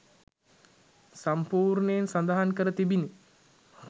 සම්පූර්ණයෙන් සඳහන් කර තිබිනි